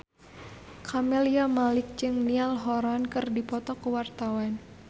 Camelia Malik jeung Niall Horran keur dipoto ku wartawan